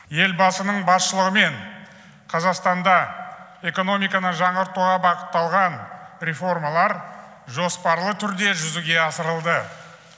елбасының басшылығымен қазақстанда экономиканы жаңғыртуға бағытталған реформалар жоспарлы түрде жүзеге асырылды